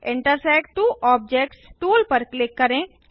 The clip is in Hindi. इंटरसेक्ट त्वो ऑब्जेक्ट्स टूल पर क्लिक करें